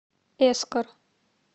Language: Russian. эскор